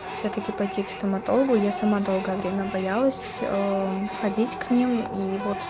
всё-таки пойти к стоматологу я сама долгое время боялась ээ ходить к ним и вот